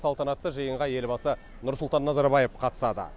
салтанатты жиынға елбасы нұрсұлтан назарбаев қатысады